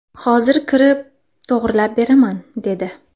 Hozir kirib, to‘g‘rilab beraman, dedi.